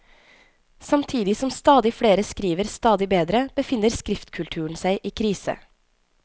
Samtidig som stadig flere skriver stadig bedre, befinner skriftkulturen seg i krise.